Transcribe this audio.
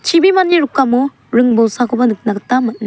chibimani rikamo ring bolsakoba nikna gita man--